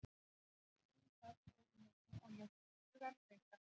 Skipstjórinn sat í rólegheitum og lét hugann reika.